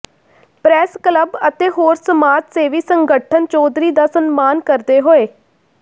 press club ਅਤੇ ਹੋਰ ਸਮਾਜ ਸੇਵੀ ਸੰਗਠਨ ਚੌਧਰੀ ਦਾ ਸਨਮਾਨ ਕਰਦੇ ਹੋਏ